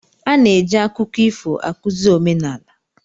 A na-eji akụkọ ifo akụzi omenala.